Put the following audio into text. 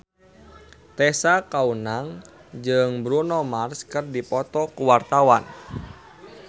Tessa Kaunang jeung Bruno Mars keur dipoto ku wartawan